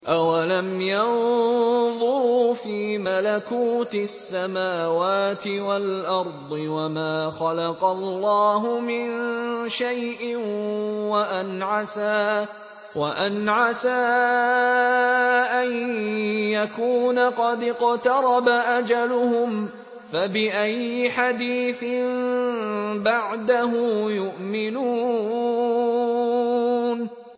أَوَلَمْ يَنظُرُوا فِي مَلَكُوتِ السَّمَاوَاتِ وَالْأَرْضِ وَمَا خَلَقَ اللَّهُ مِن شَيْءٍ وَأَنْ عَسَىٰ أَن يَكُونَ قَدِ اقْتَرَبَ أَجَلُهُمْ ۖ فَبِأَيِّ حَدِيثٍ بَعْدَهُ يُؤْمِنُونَ